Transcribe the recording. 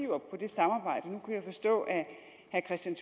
på det samarbejde nu kunne jeg forstå at herre kristian